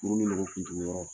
Furu ni nogo kuntugu yɔrɔ